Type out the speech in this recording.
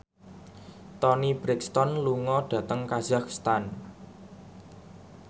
Toni Brexton lunga dhateng kazakhstan